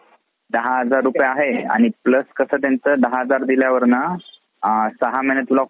दहा हजार रूपये आहे आणि plus कसं त्याचं दहा हजार दिल्यावर ना नंतर सहा महिने तुला call येतील.